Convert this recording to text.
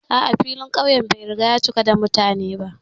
A'a, filin ƙauyen ya riga ya cika da mutane.